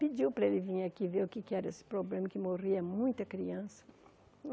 Pediu para ele vir aqui ver o que é que era esse problema, que morria muita criança.